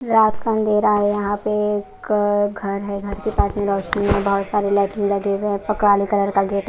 रात का अंधेरा है यहां पे एक घर है घर के पार्किंग लॉट में बहोत सारे लाइटिंग लगे हुए हैं काले कलर का गेट है।